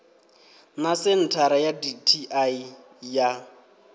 na senthara ya dti ya